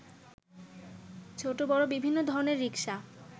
ছোট বড় বিভিন্ন ধরনের রিকশা